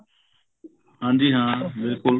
ਹਾਂਜੀ ਹਾਂ ਬਿਲਕੁਲ